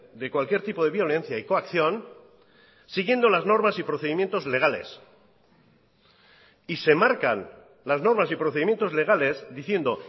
de cualquier tipo de violencia y coacción siguiendo las normas y procedimientos legales y se marcan las normas y procedimientos legales diciendo